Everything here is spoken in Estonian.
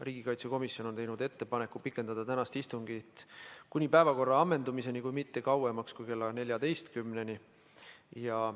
Riigikaitsekomisjon on teinud ettepaneku pikendada tänast istungit kuni päevakorra ammendumiseni, kuid mitte kauemaks kui kella 14-ni.